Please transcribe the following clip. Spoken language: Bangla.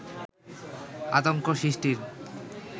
আতঙ্ক সৃষ্টির